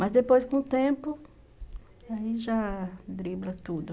Mas depois, com o tempo, aí já dribla tudo.